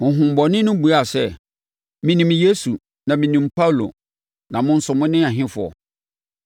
Honhommɔne no buaa sɛ, “Menim Yesu, na menim Paulo; na mo nso mone ɛhefoɔ?”